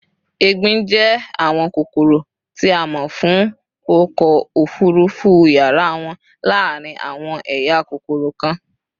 égbin jẹ awọn kokoro ti a mọ fun ọkọ ofurufu yara wọn laarin awọn eya kokoro kan